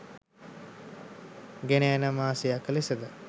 ගෙනයන මාසයක් ලෙසද